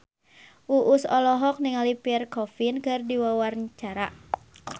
Uus olohok ningali Pierre Coffin keur diwawancara